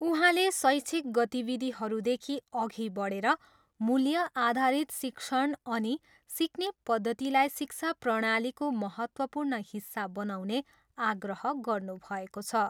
उहाँले शैक्षिक गतिविधिहरूदेखि अघि बढेर मूल्य आधारित शिक्षण अनि सिक्ने पद्धतिलाई शिक्षा प्रणालीको महत्त्वपूर्ण हिस्सा बनाउने आग्रह गर्नुभएको छ।